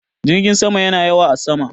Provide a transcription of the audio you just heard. Jirgin sama yana yawo a sama.